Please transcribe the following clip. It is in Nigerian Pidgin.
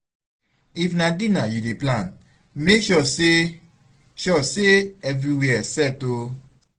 if na dinner yu dey plan mek sure sey sure sey evriwia set o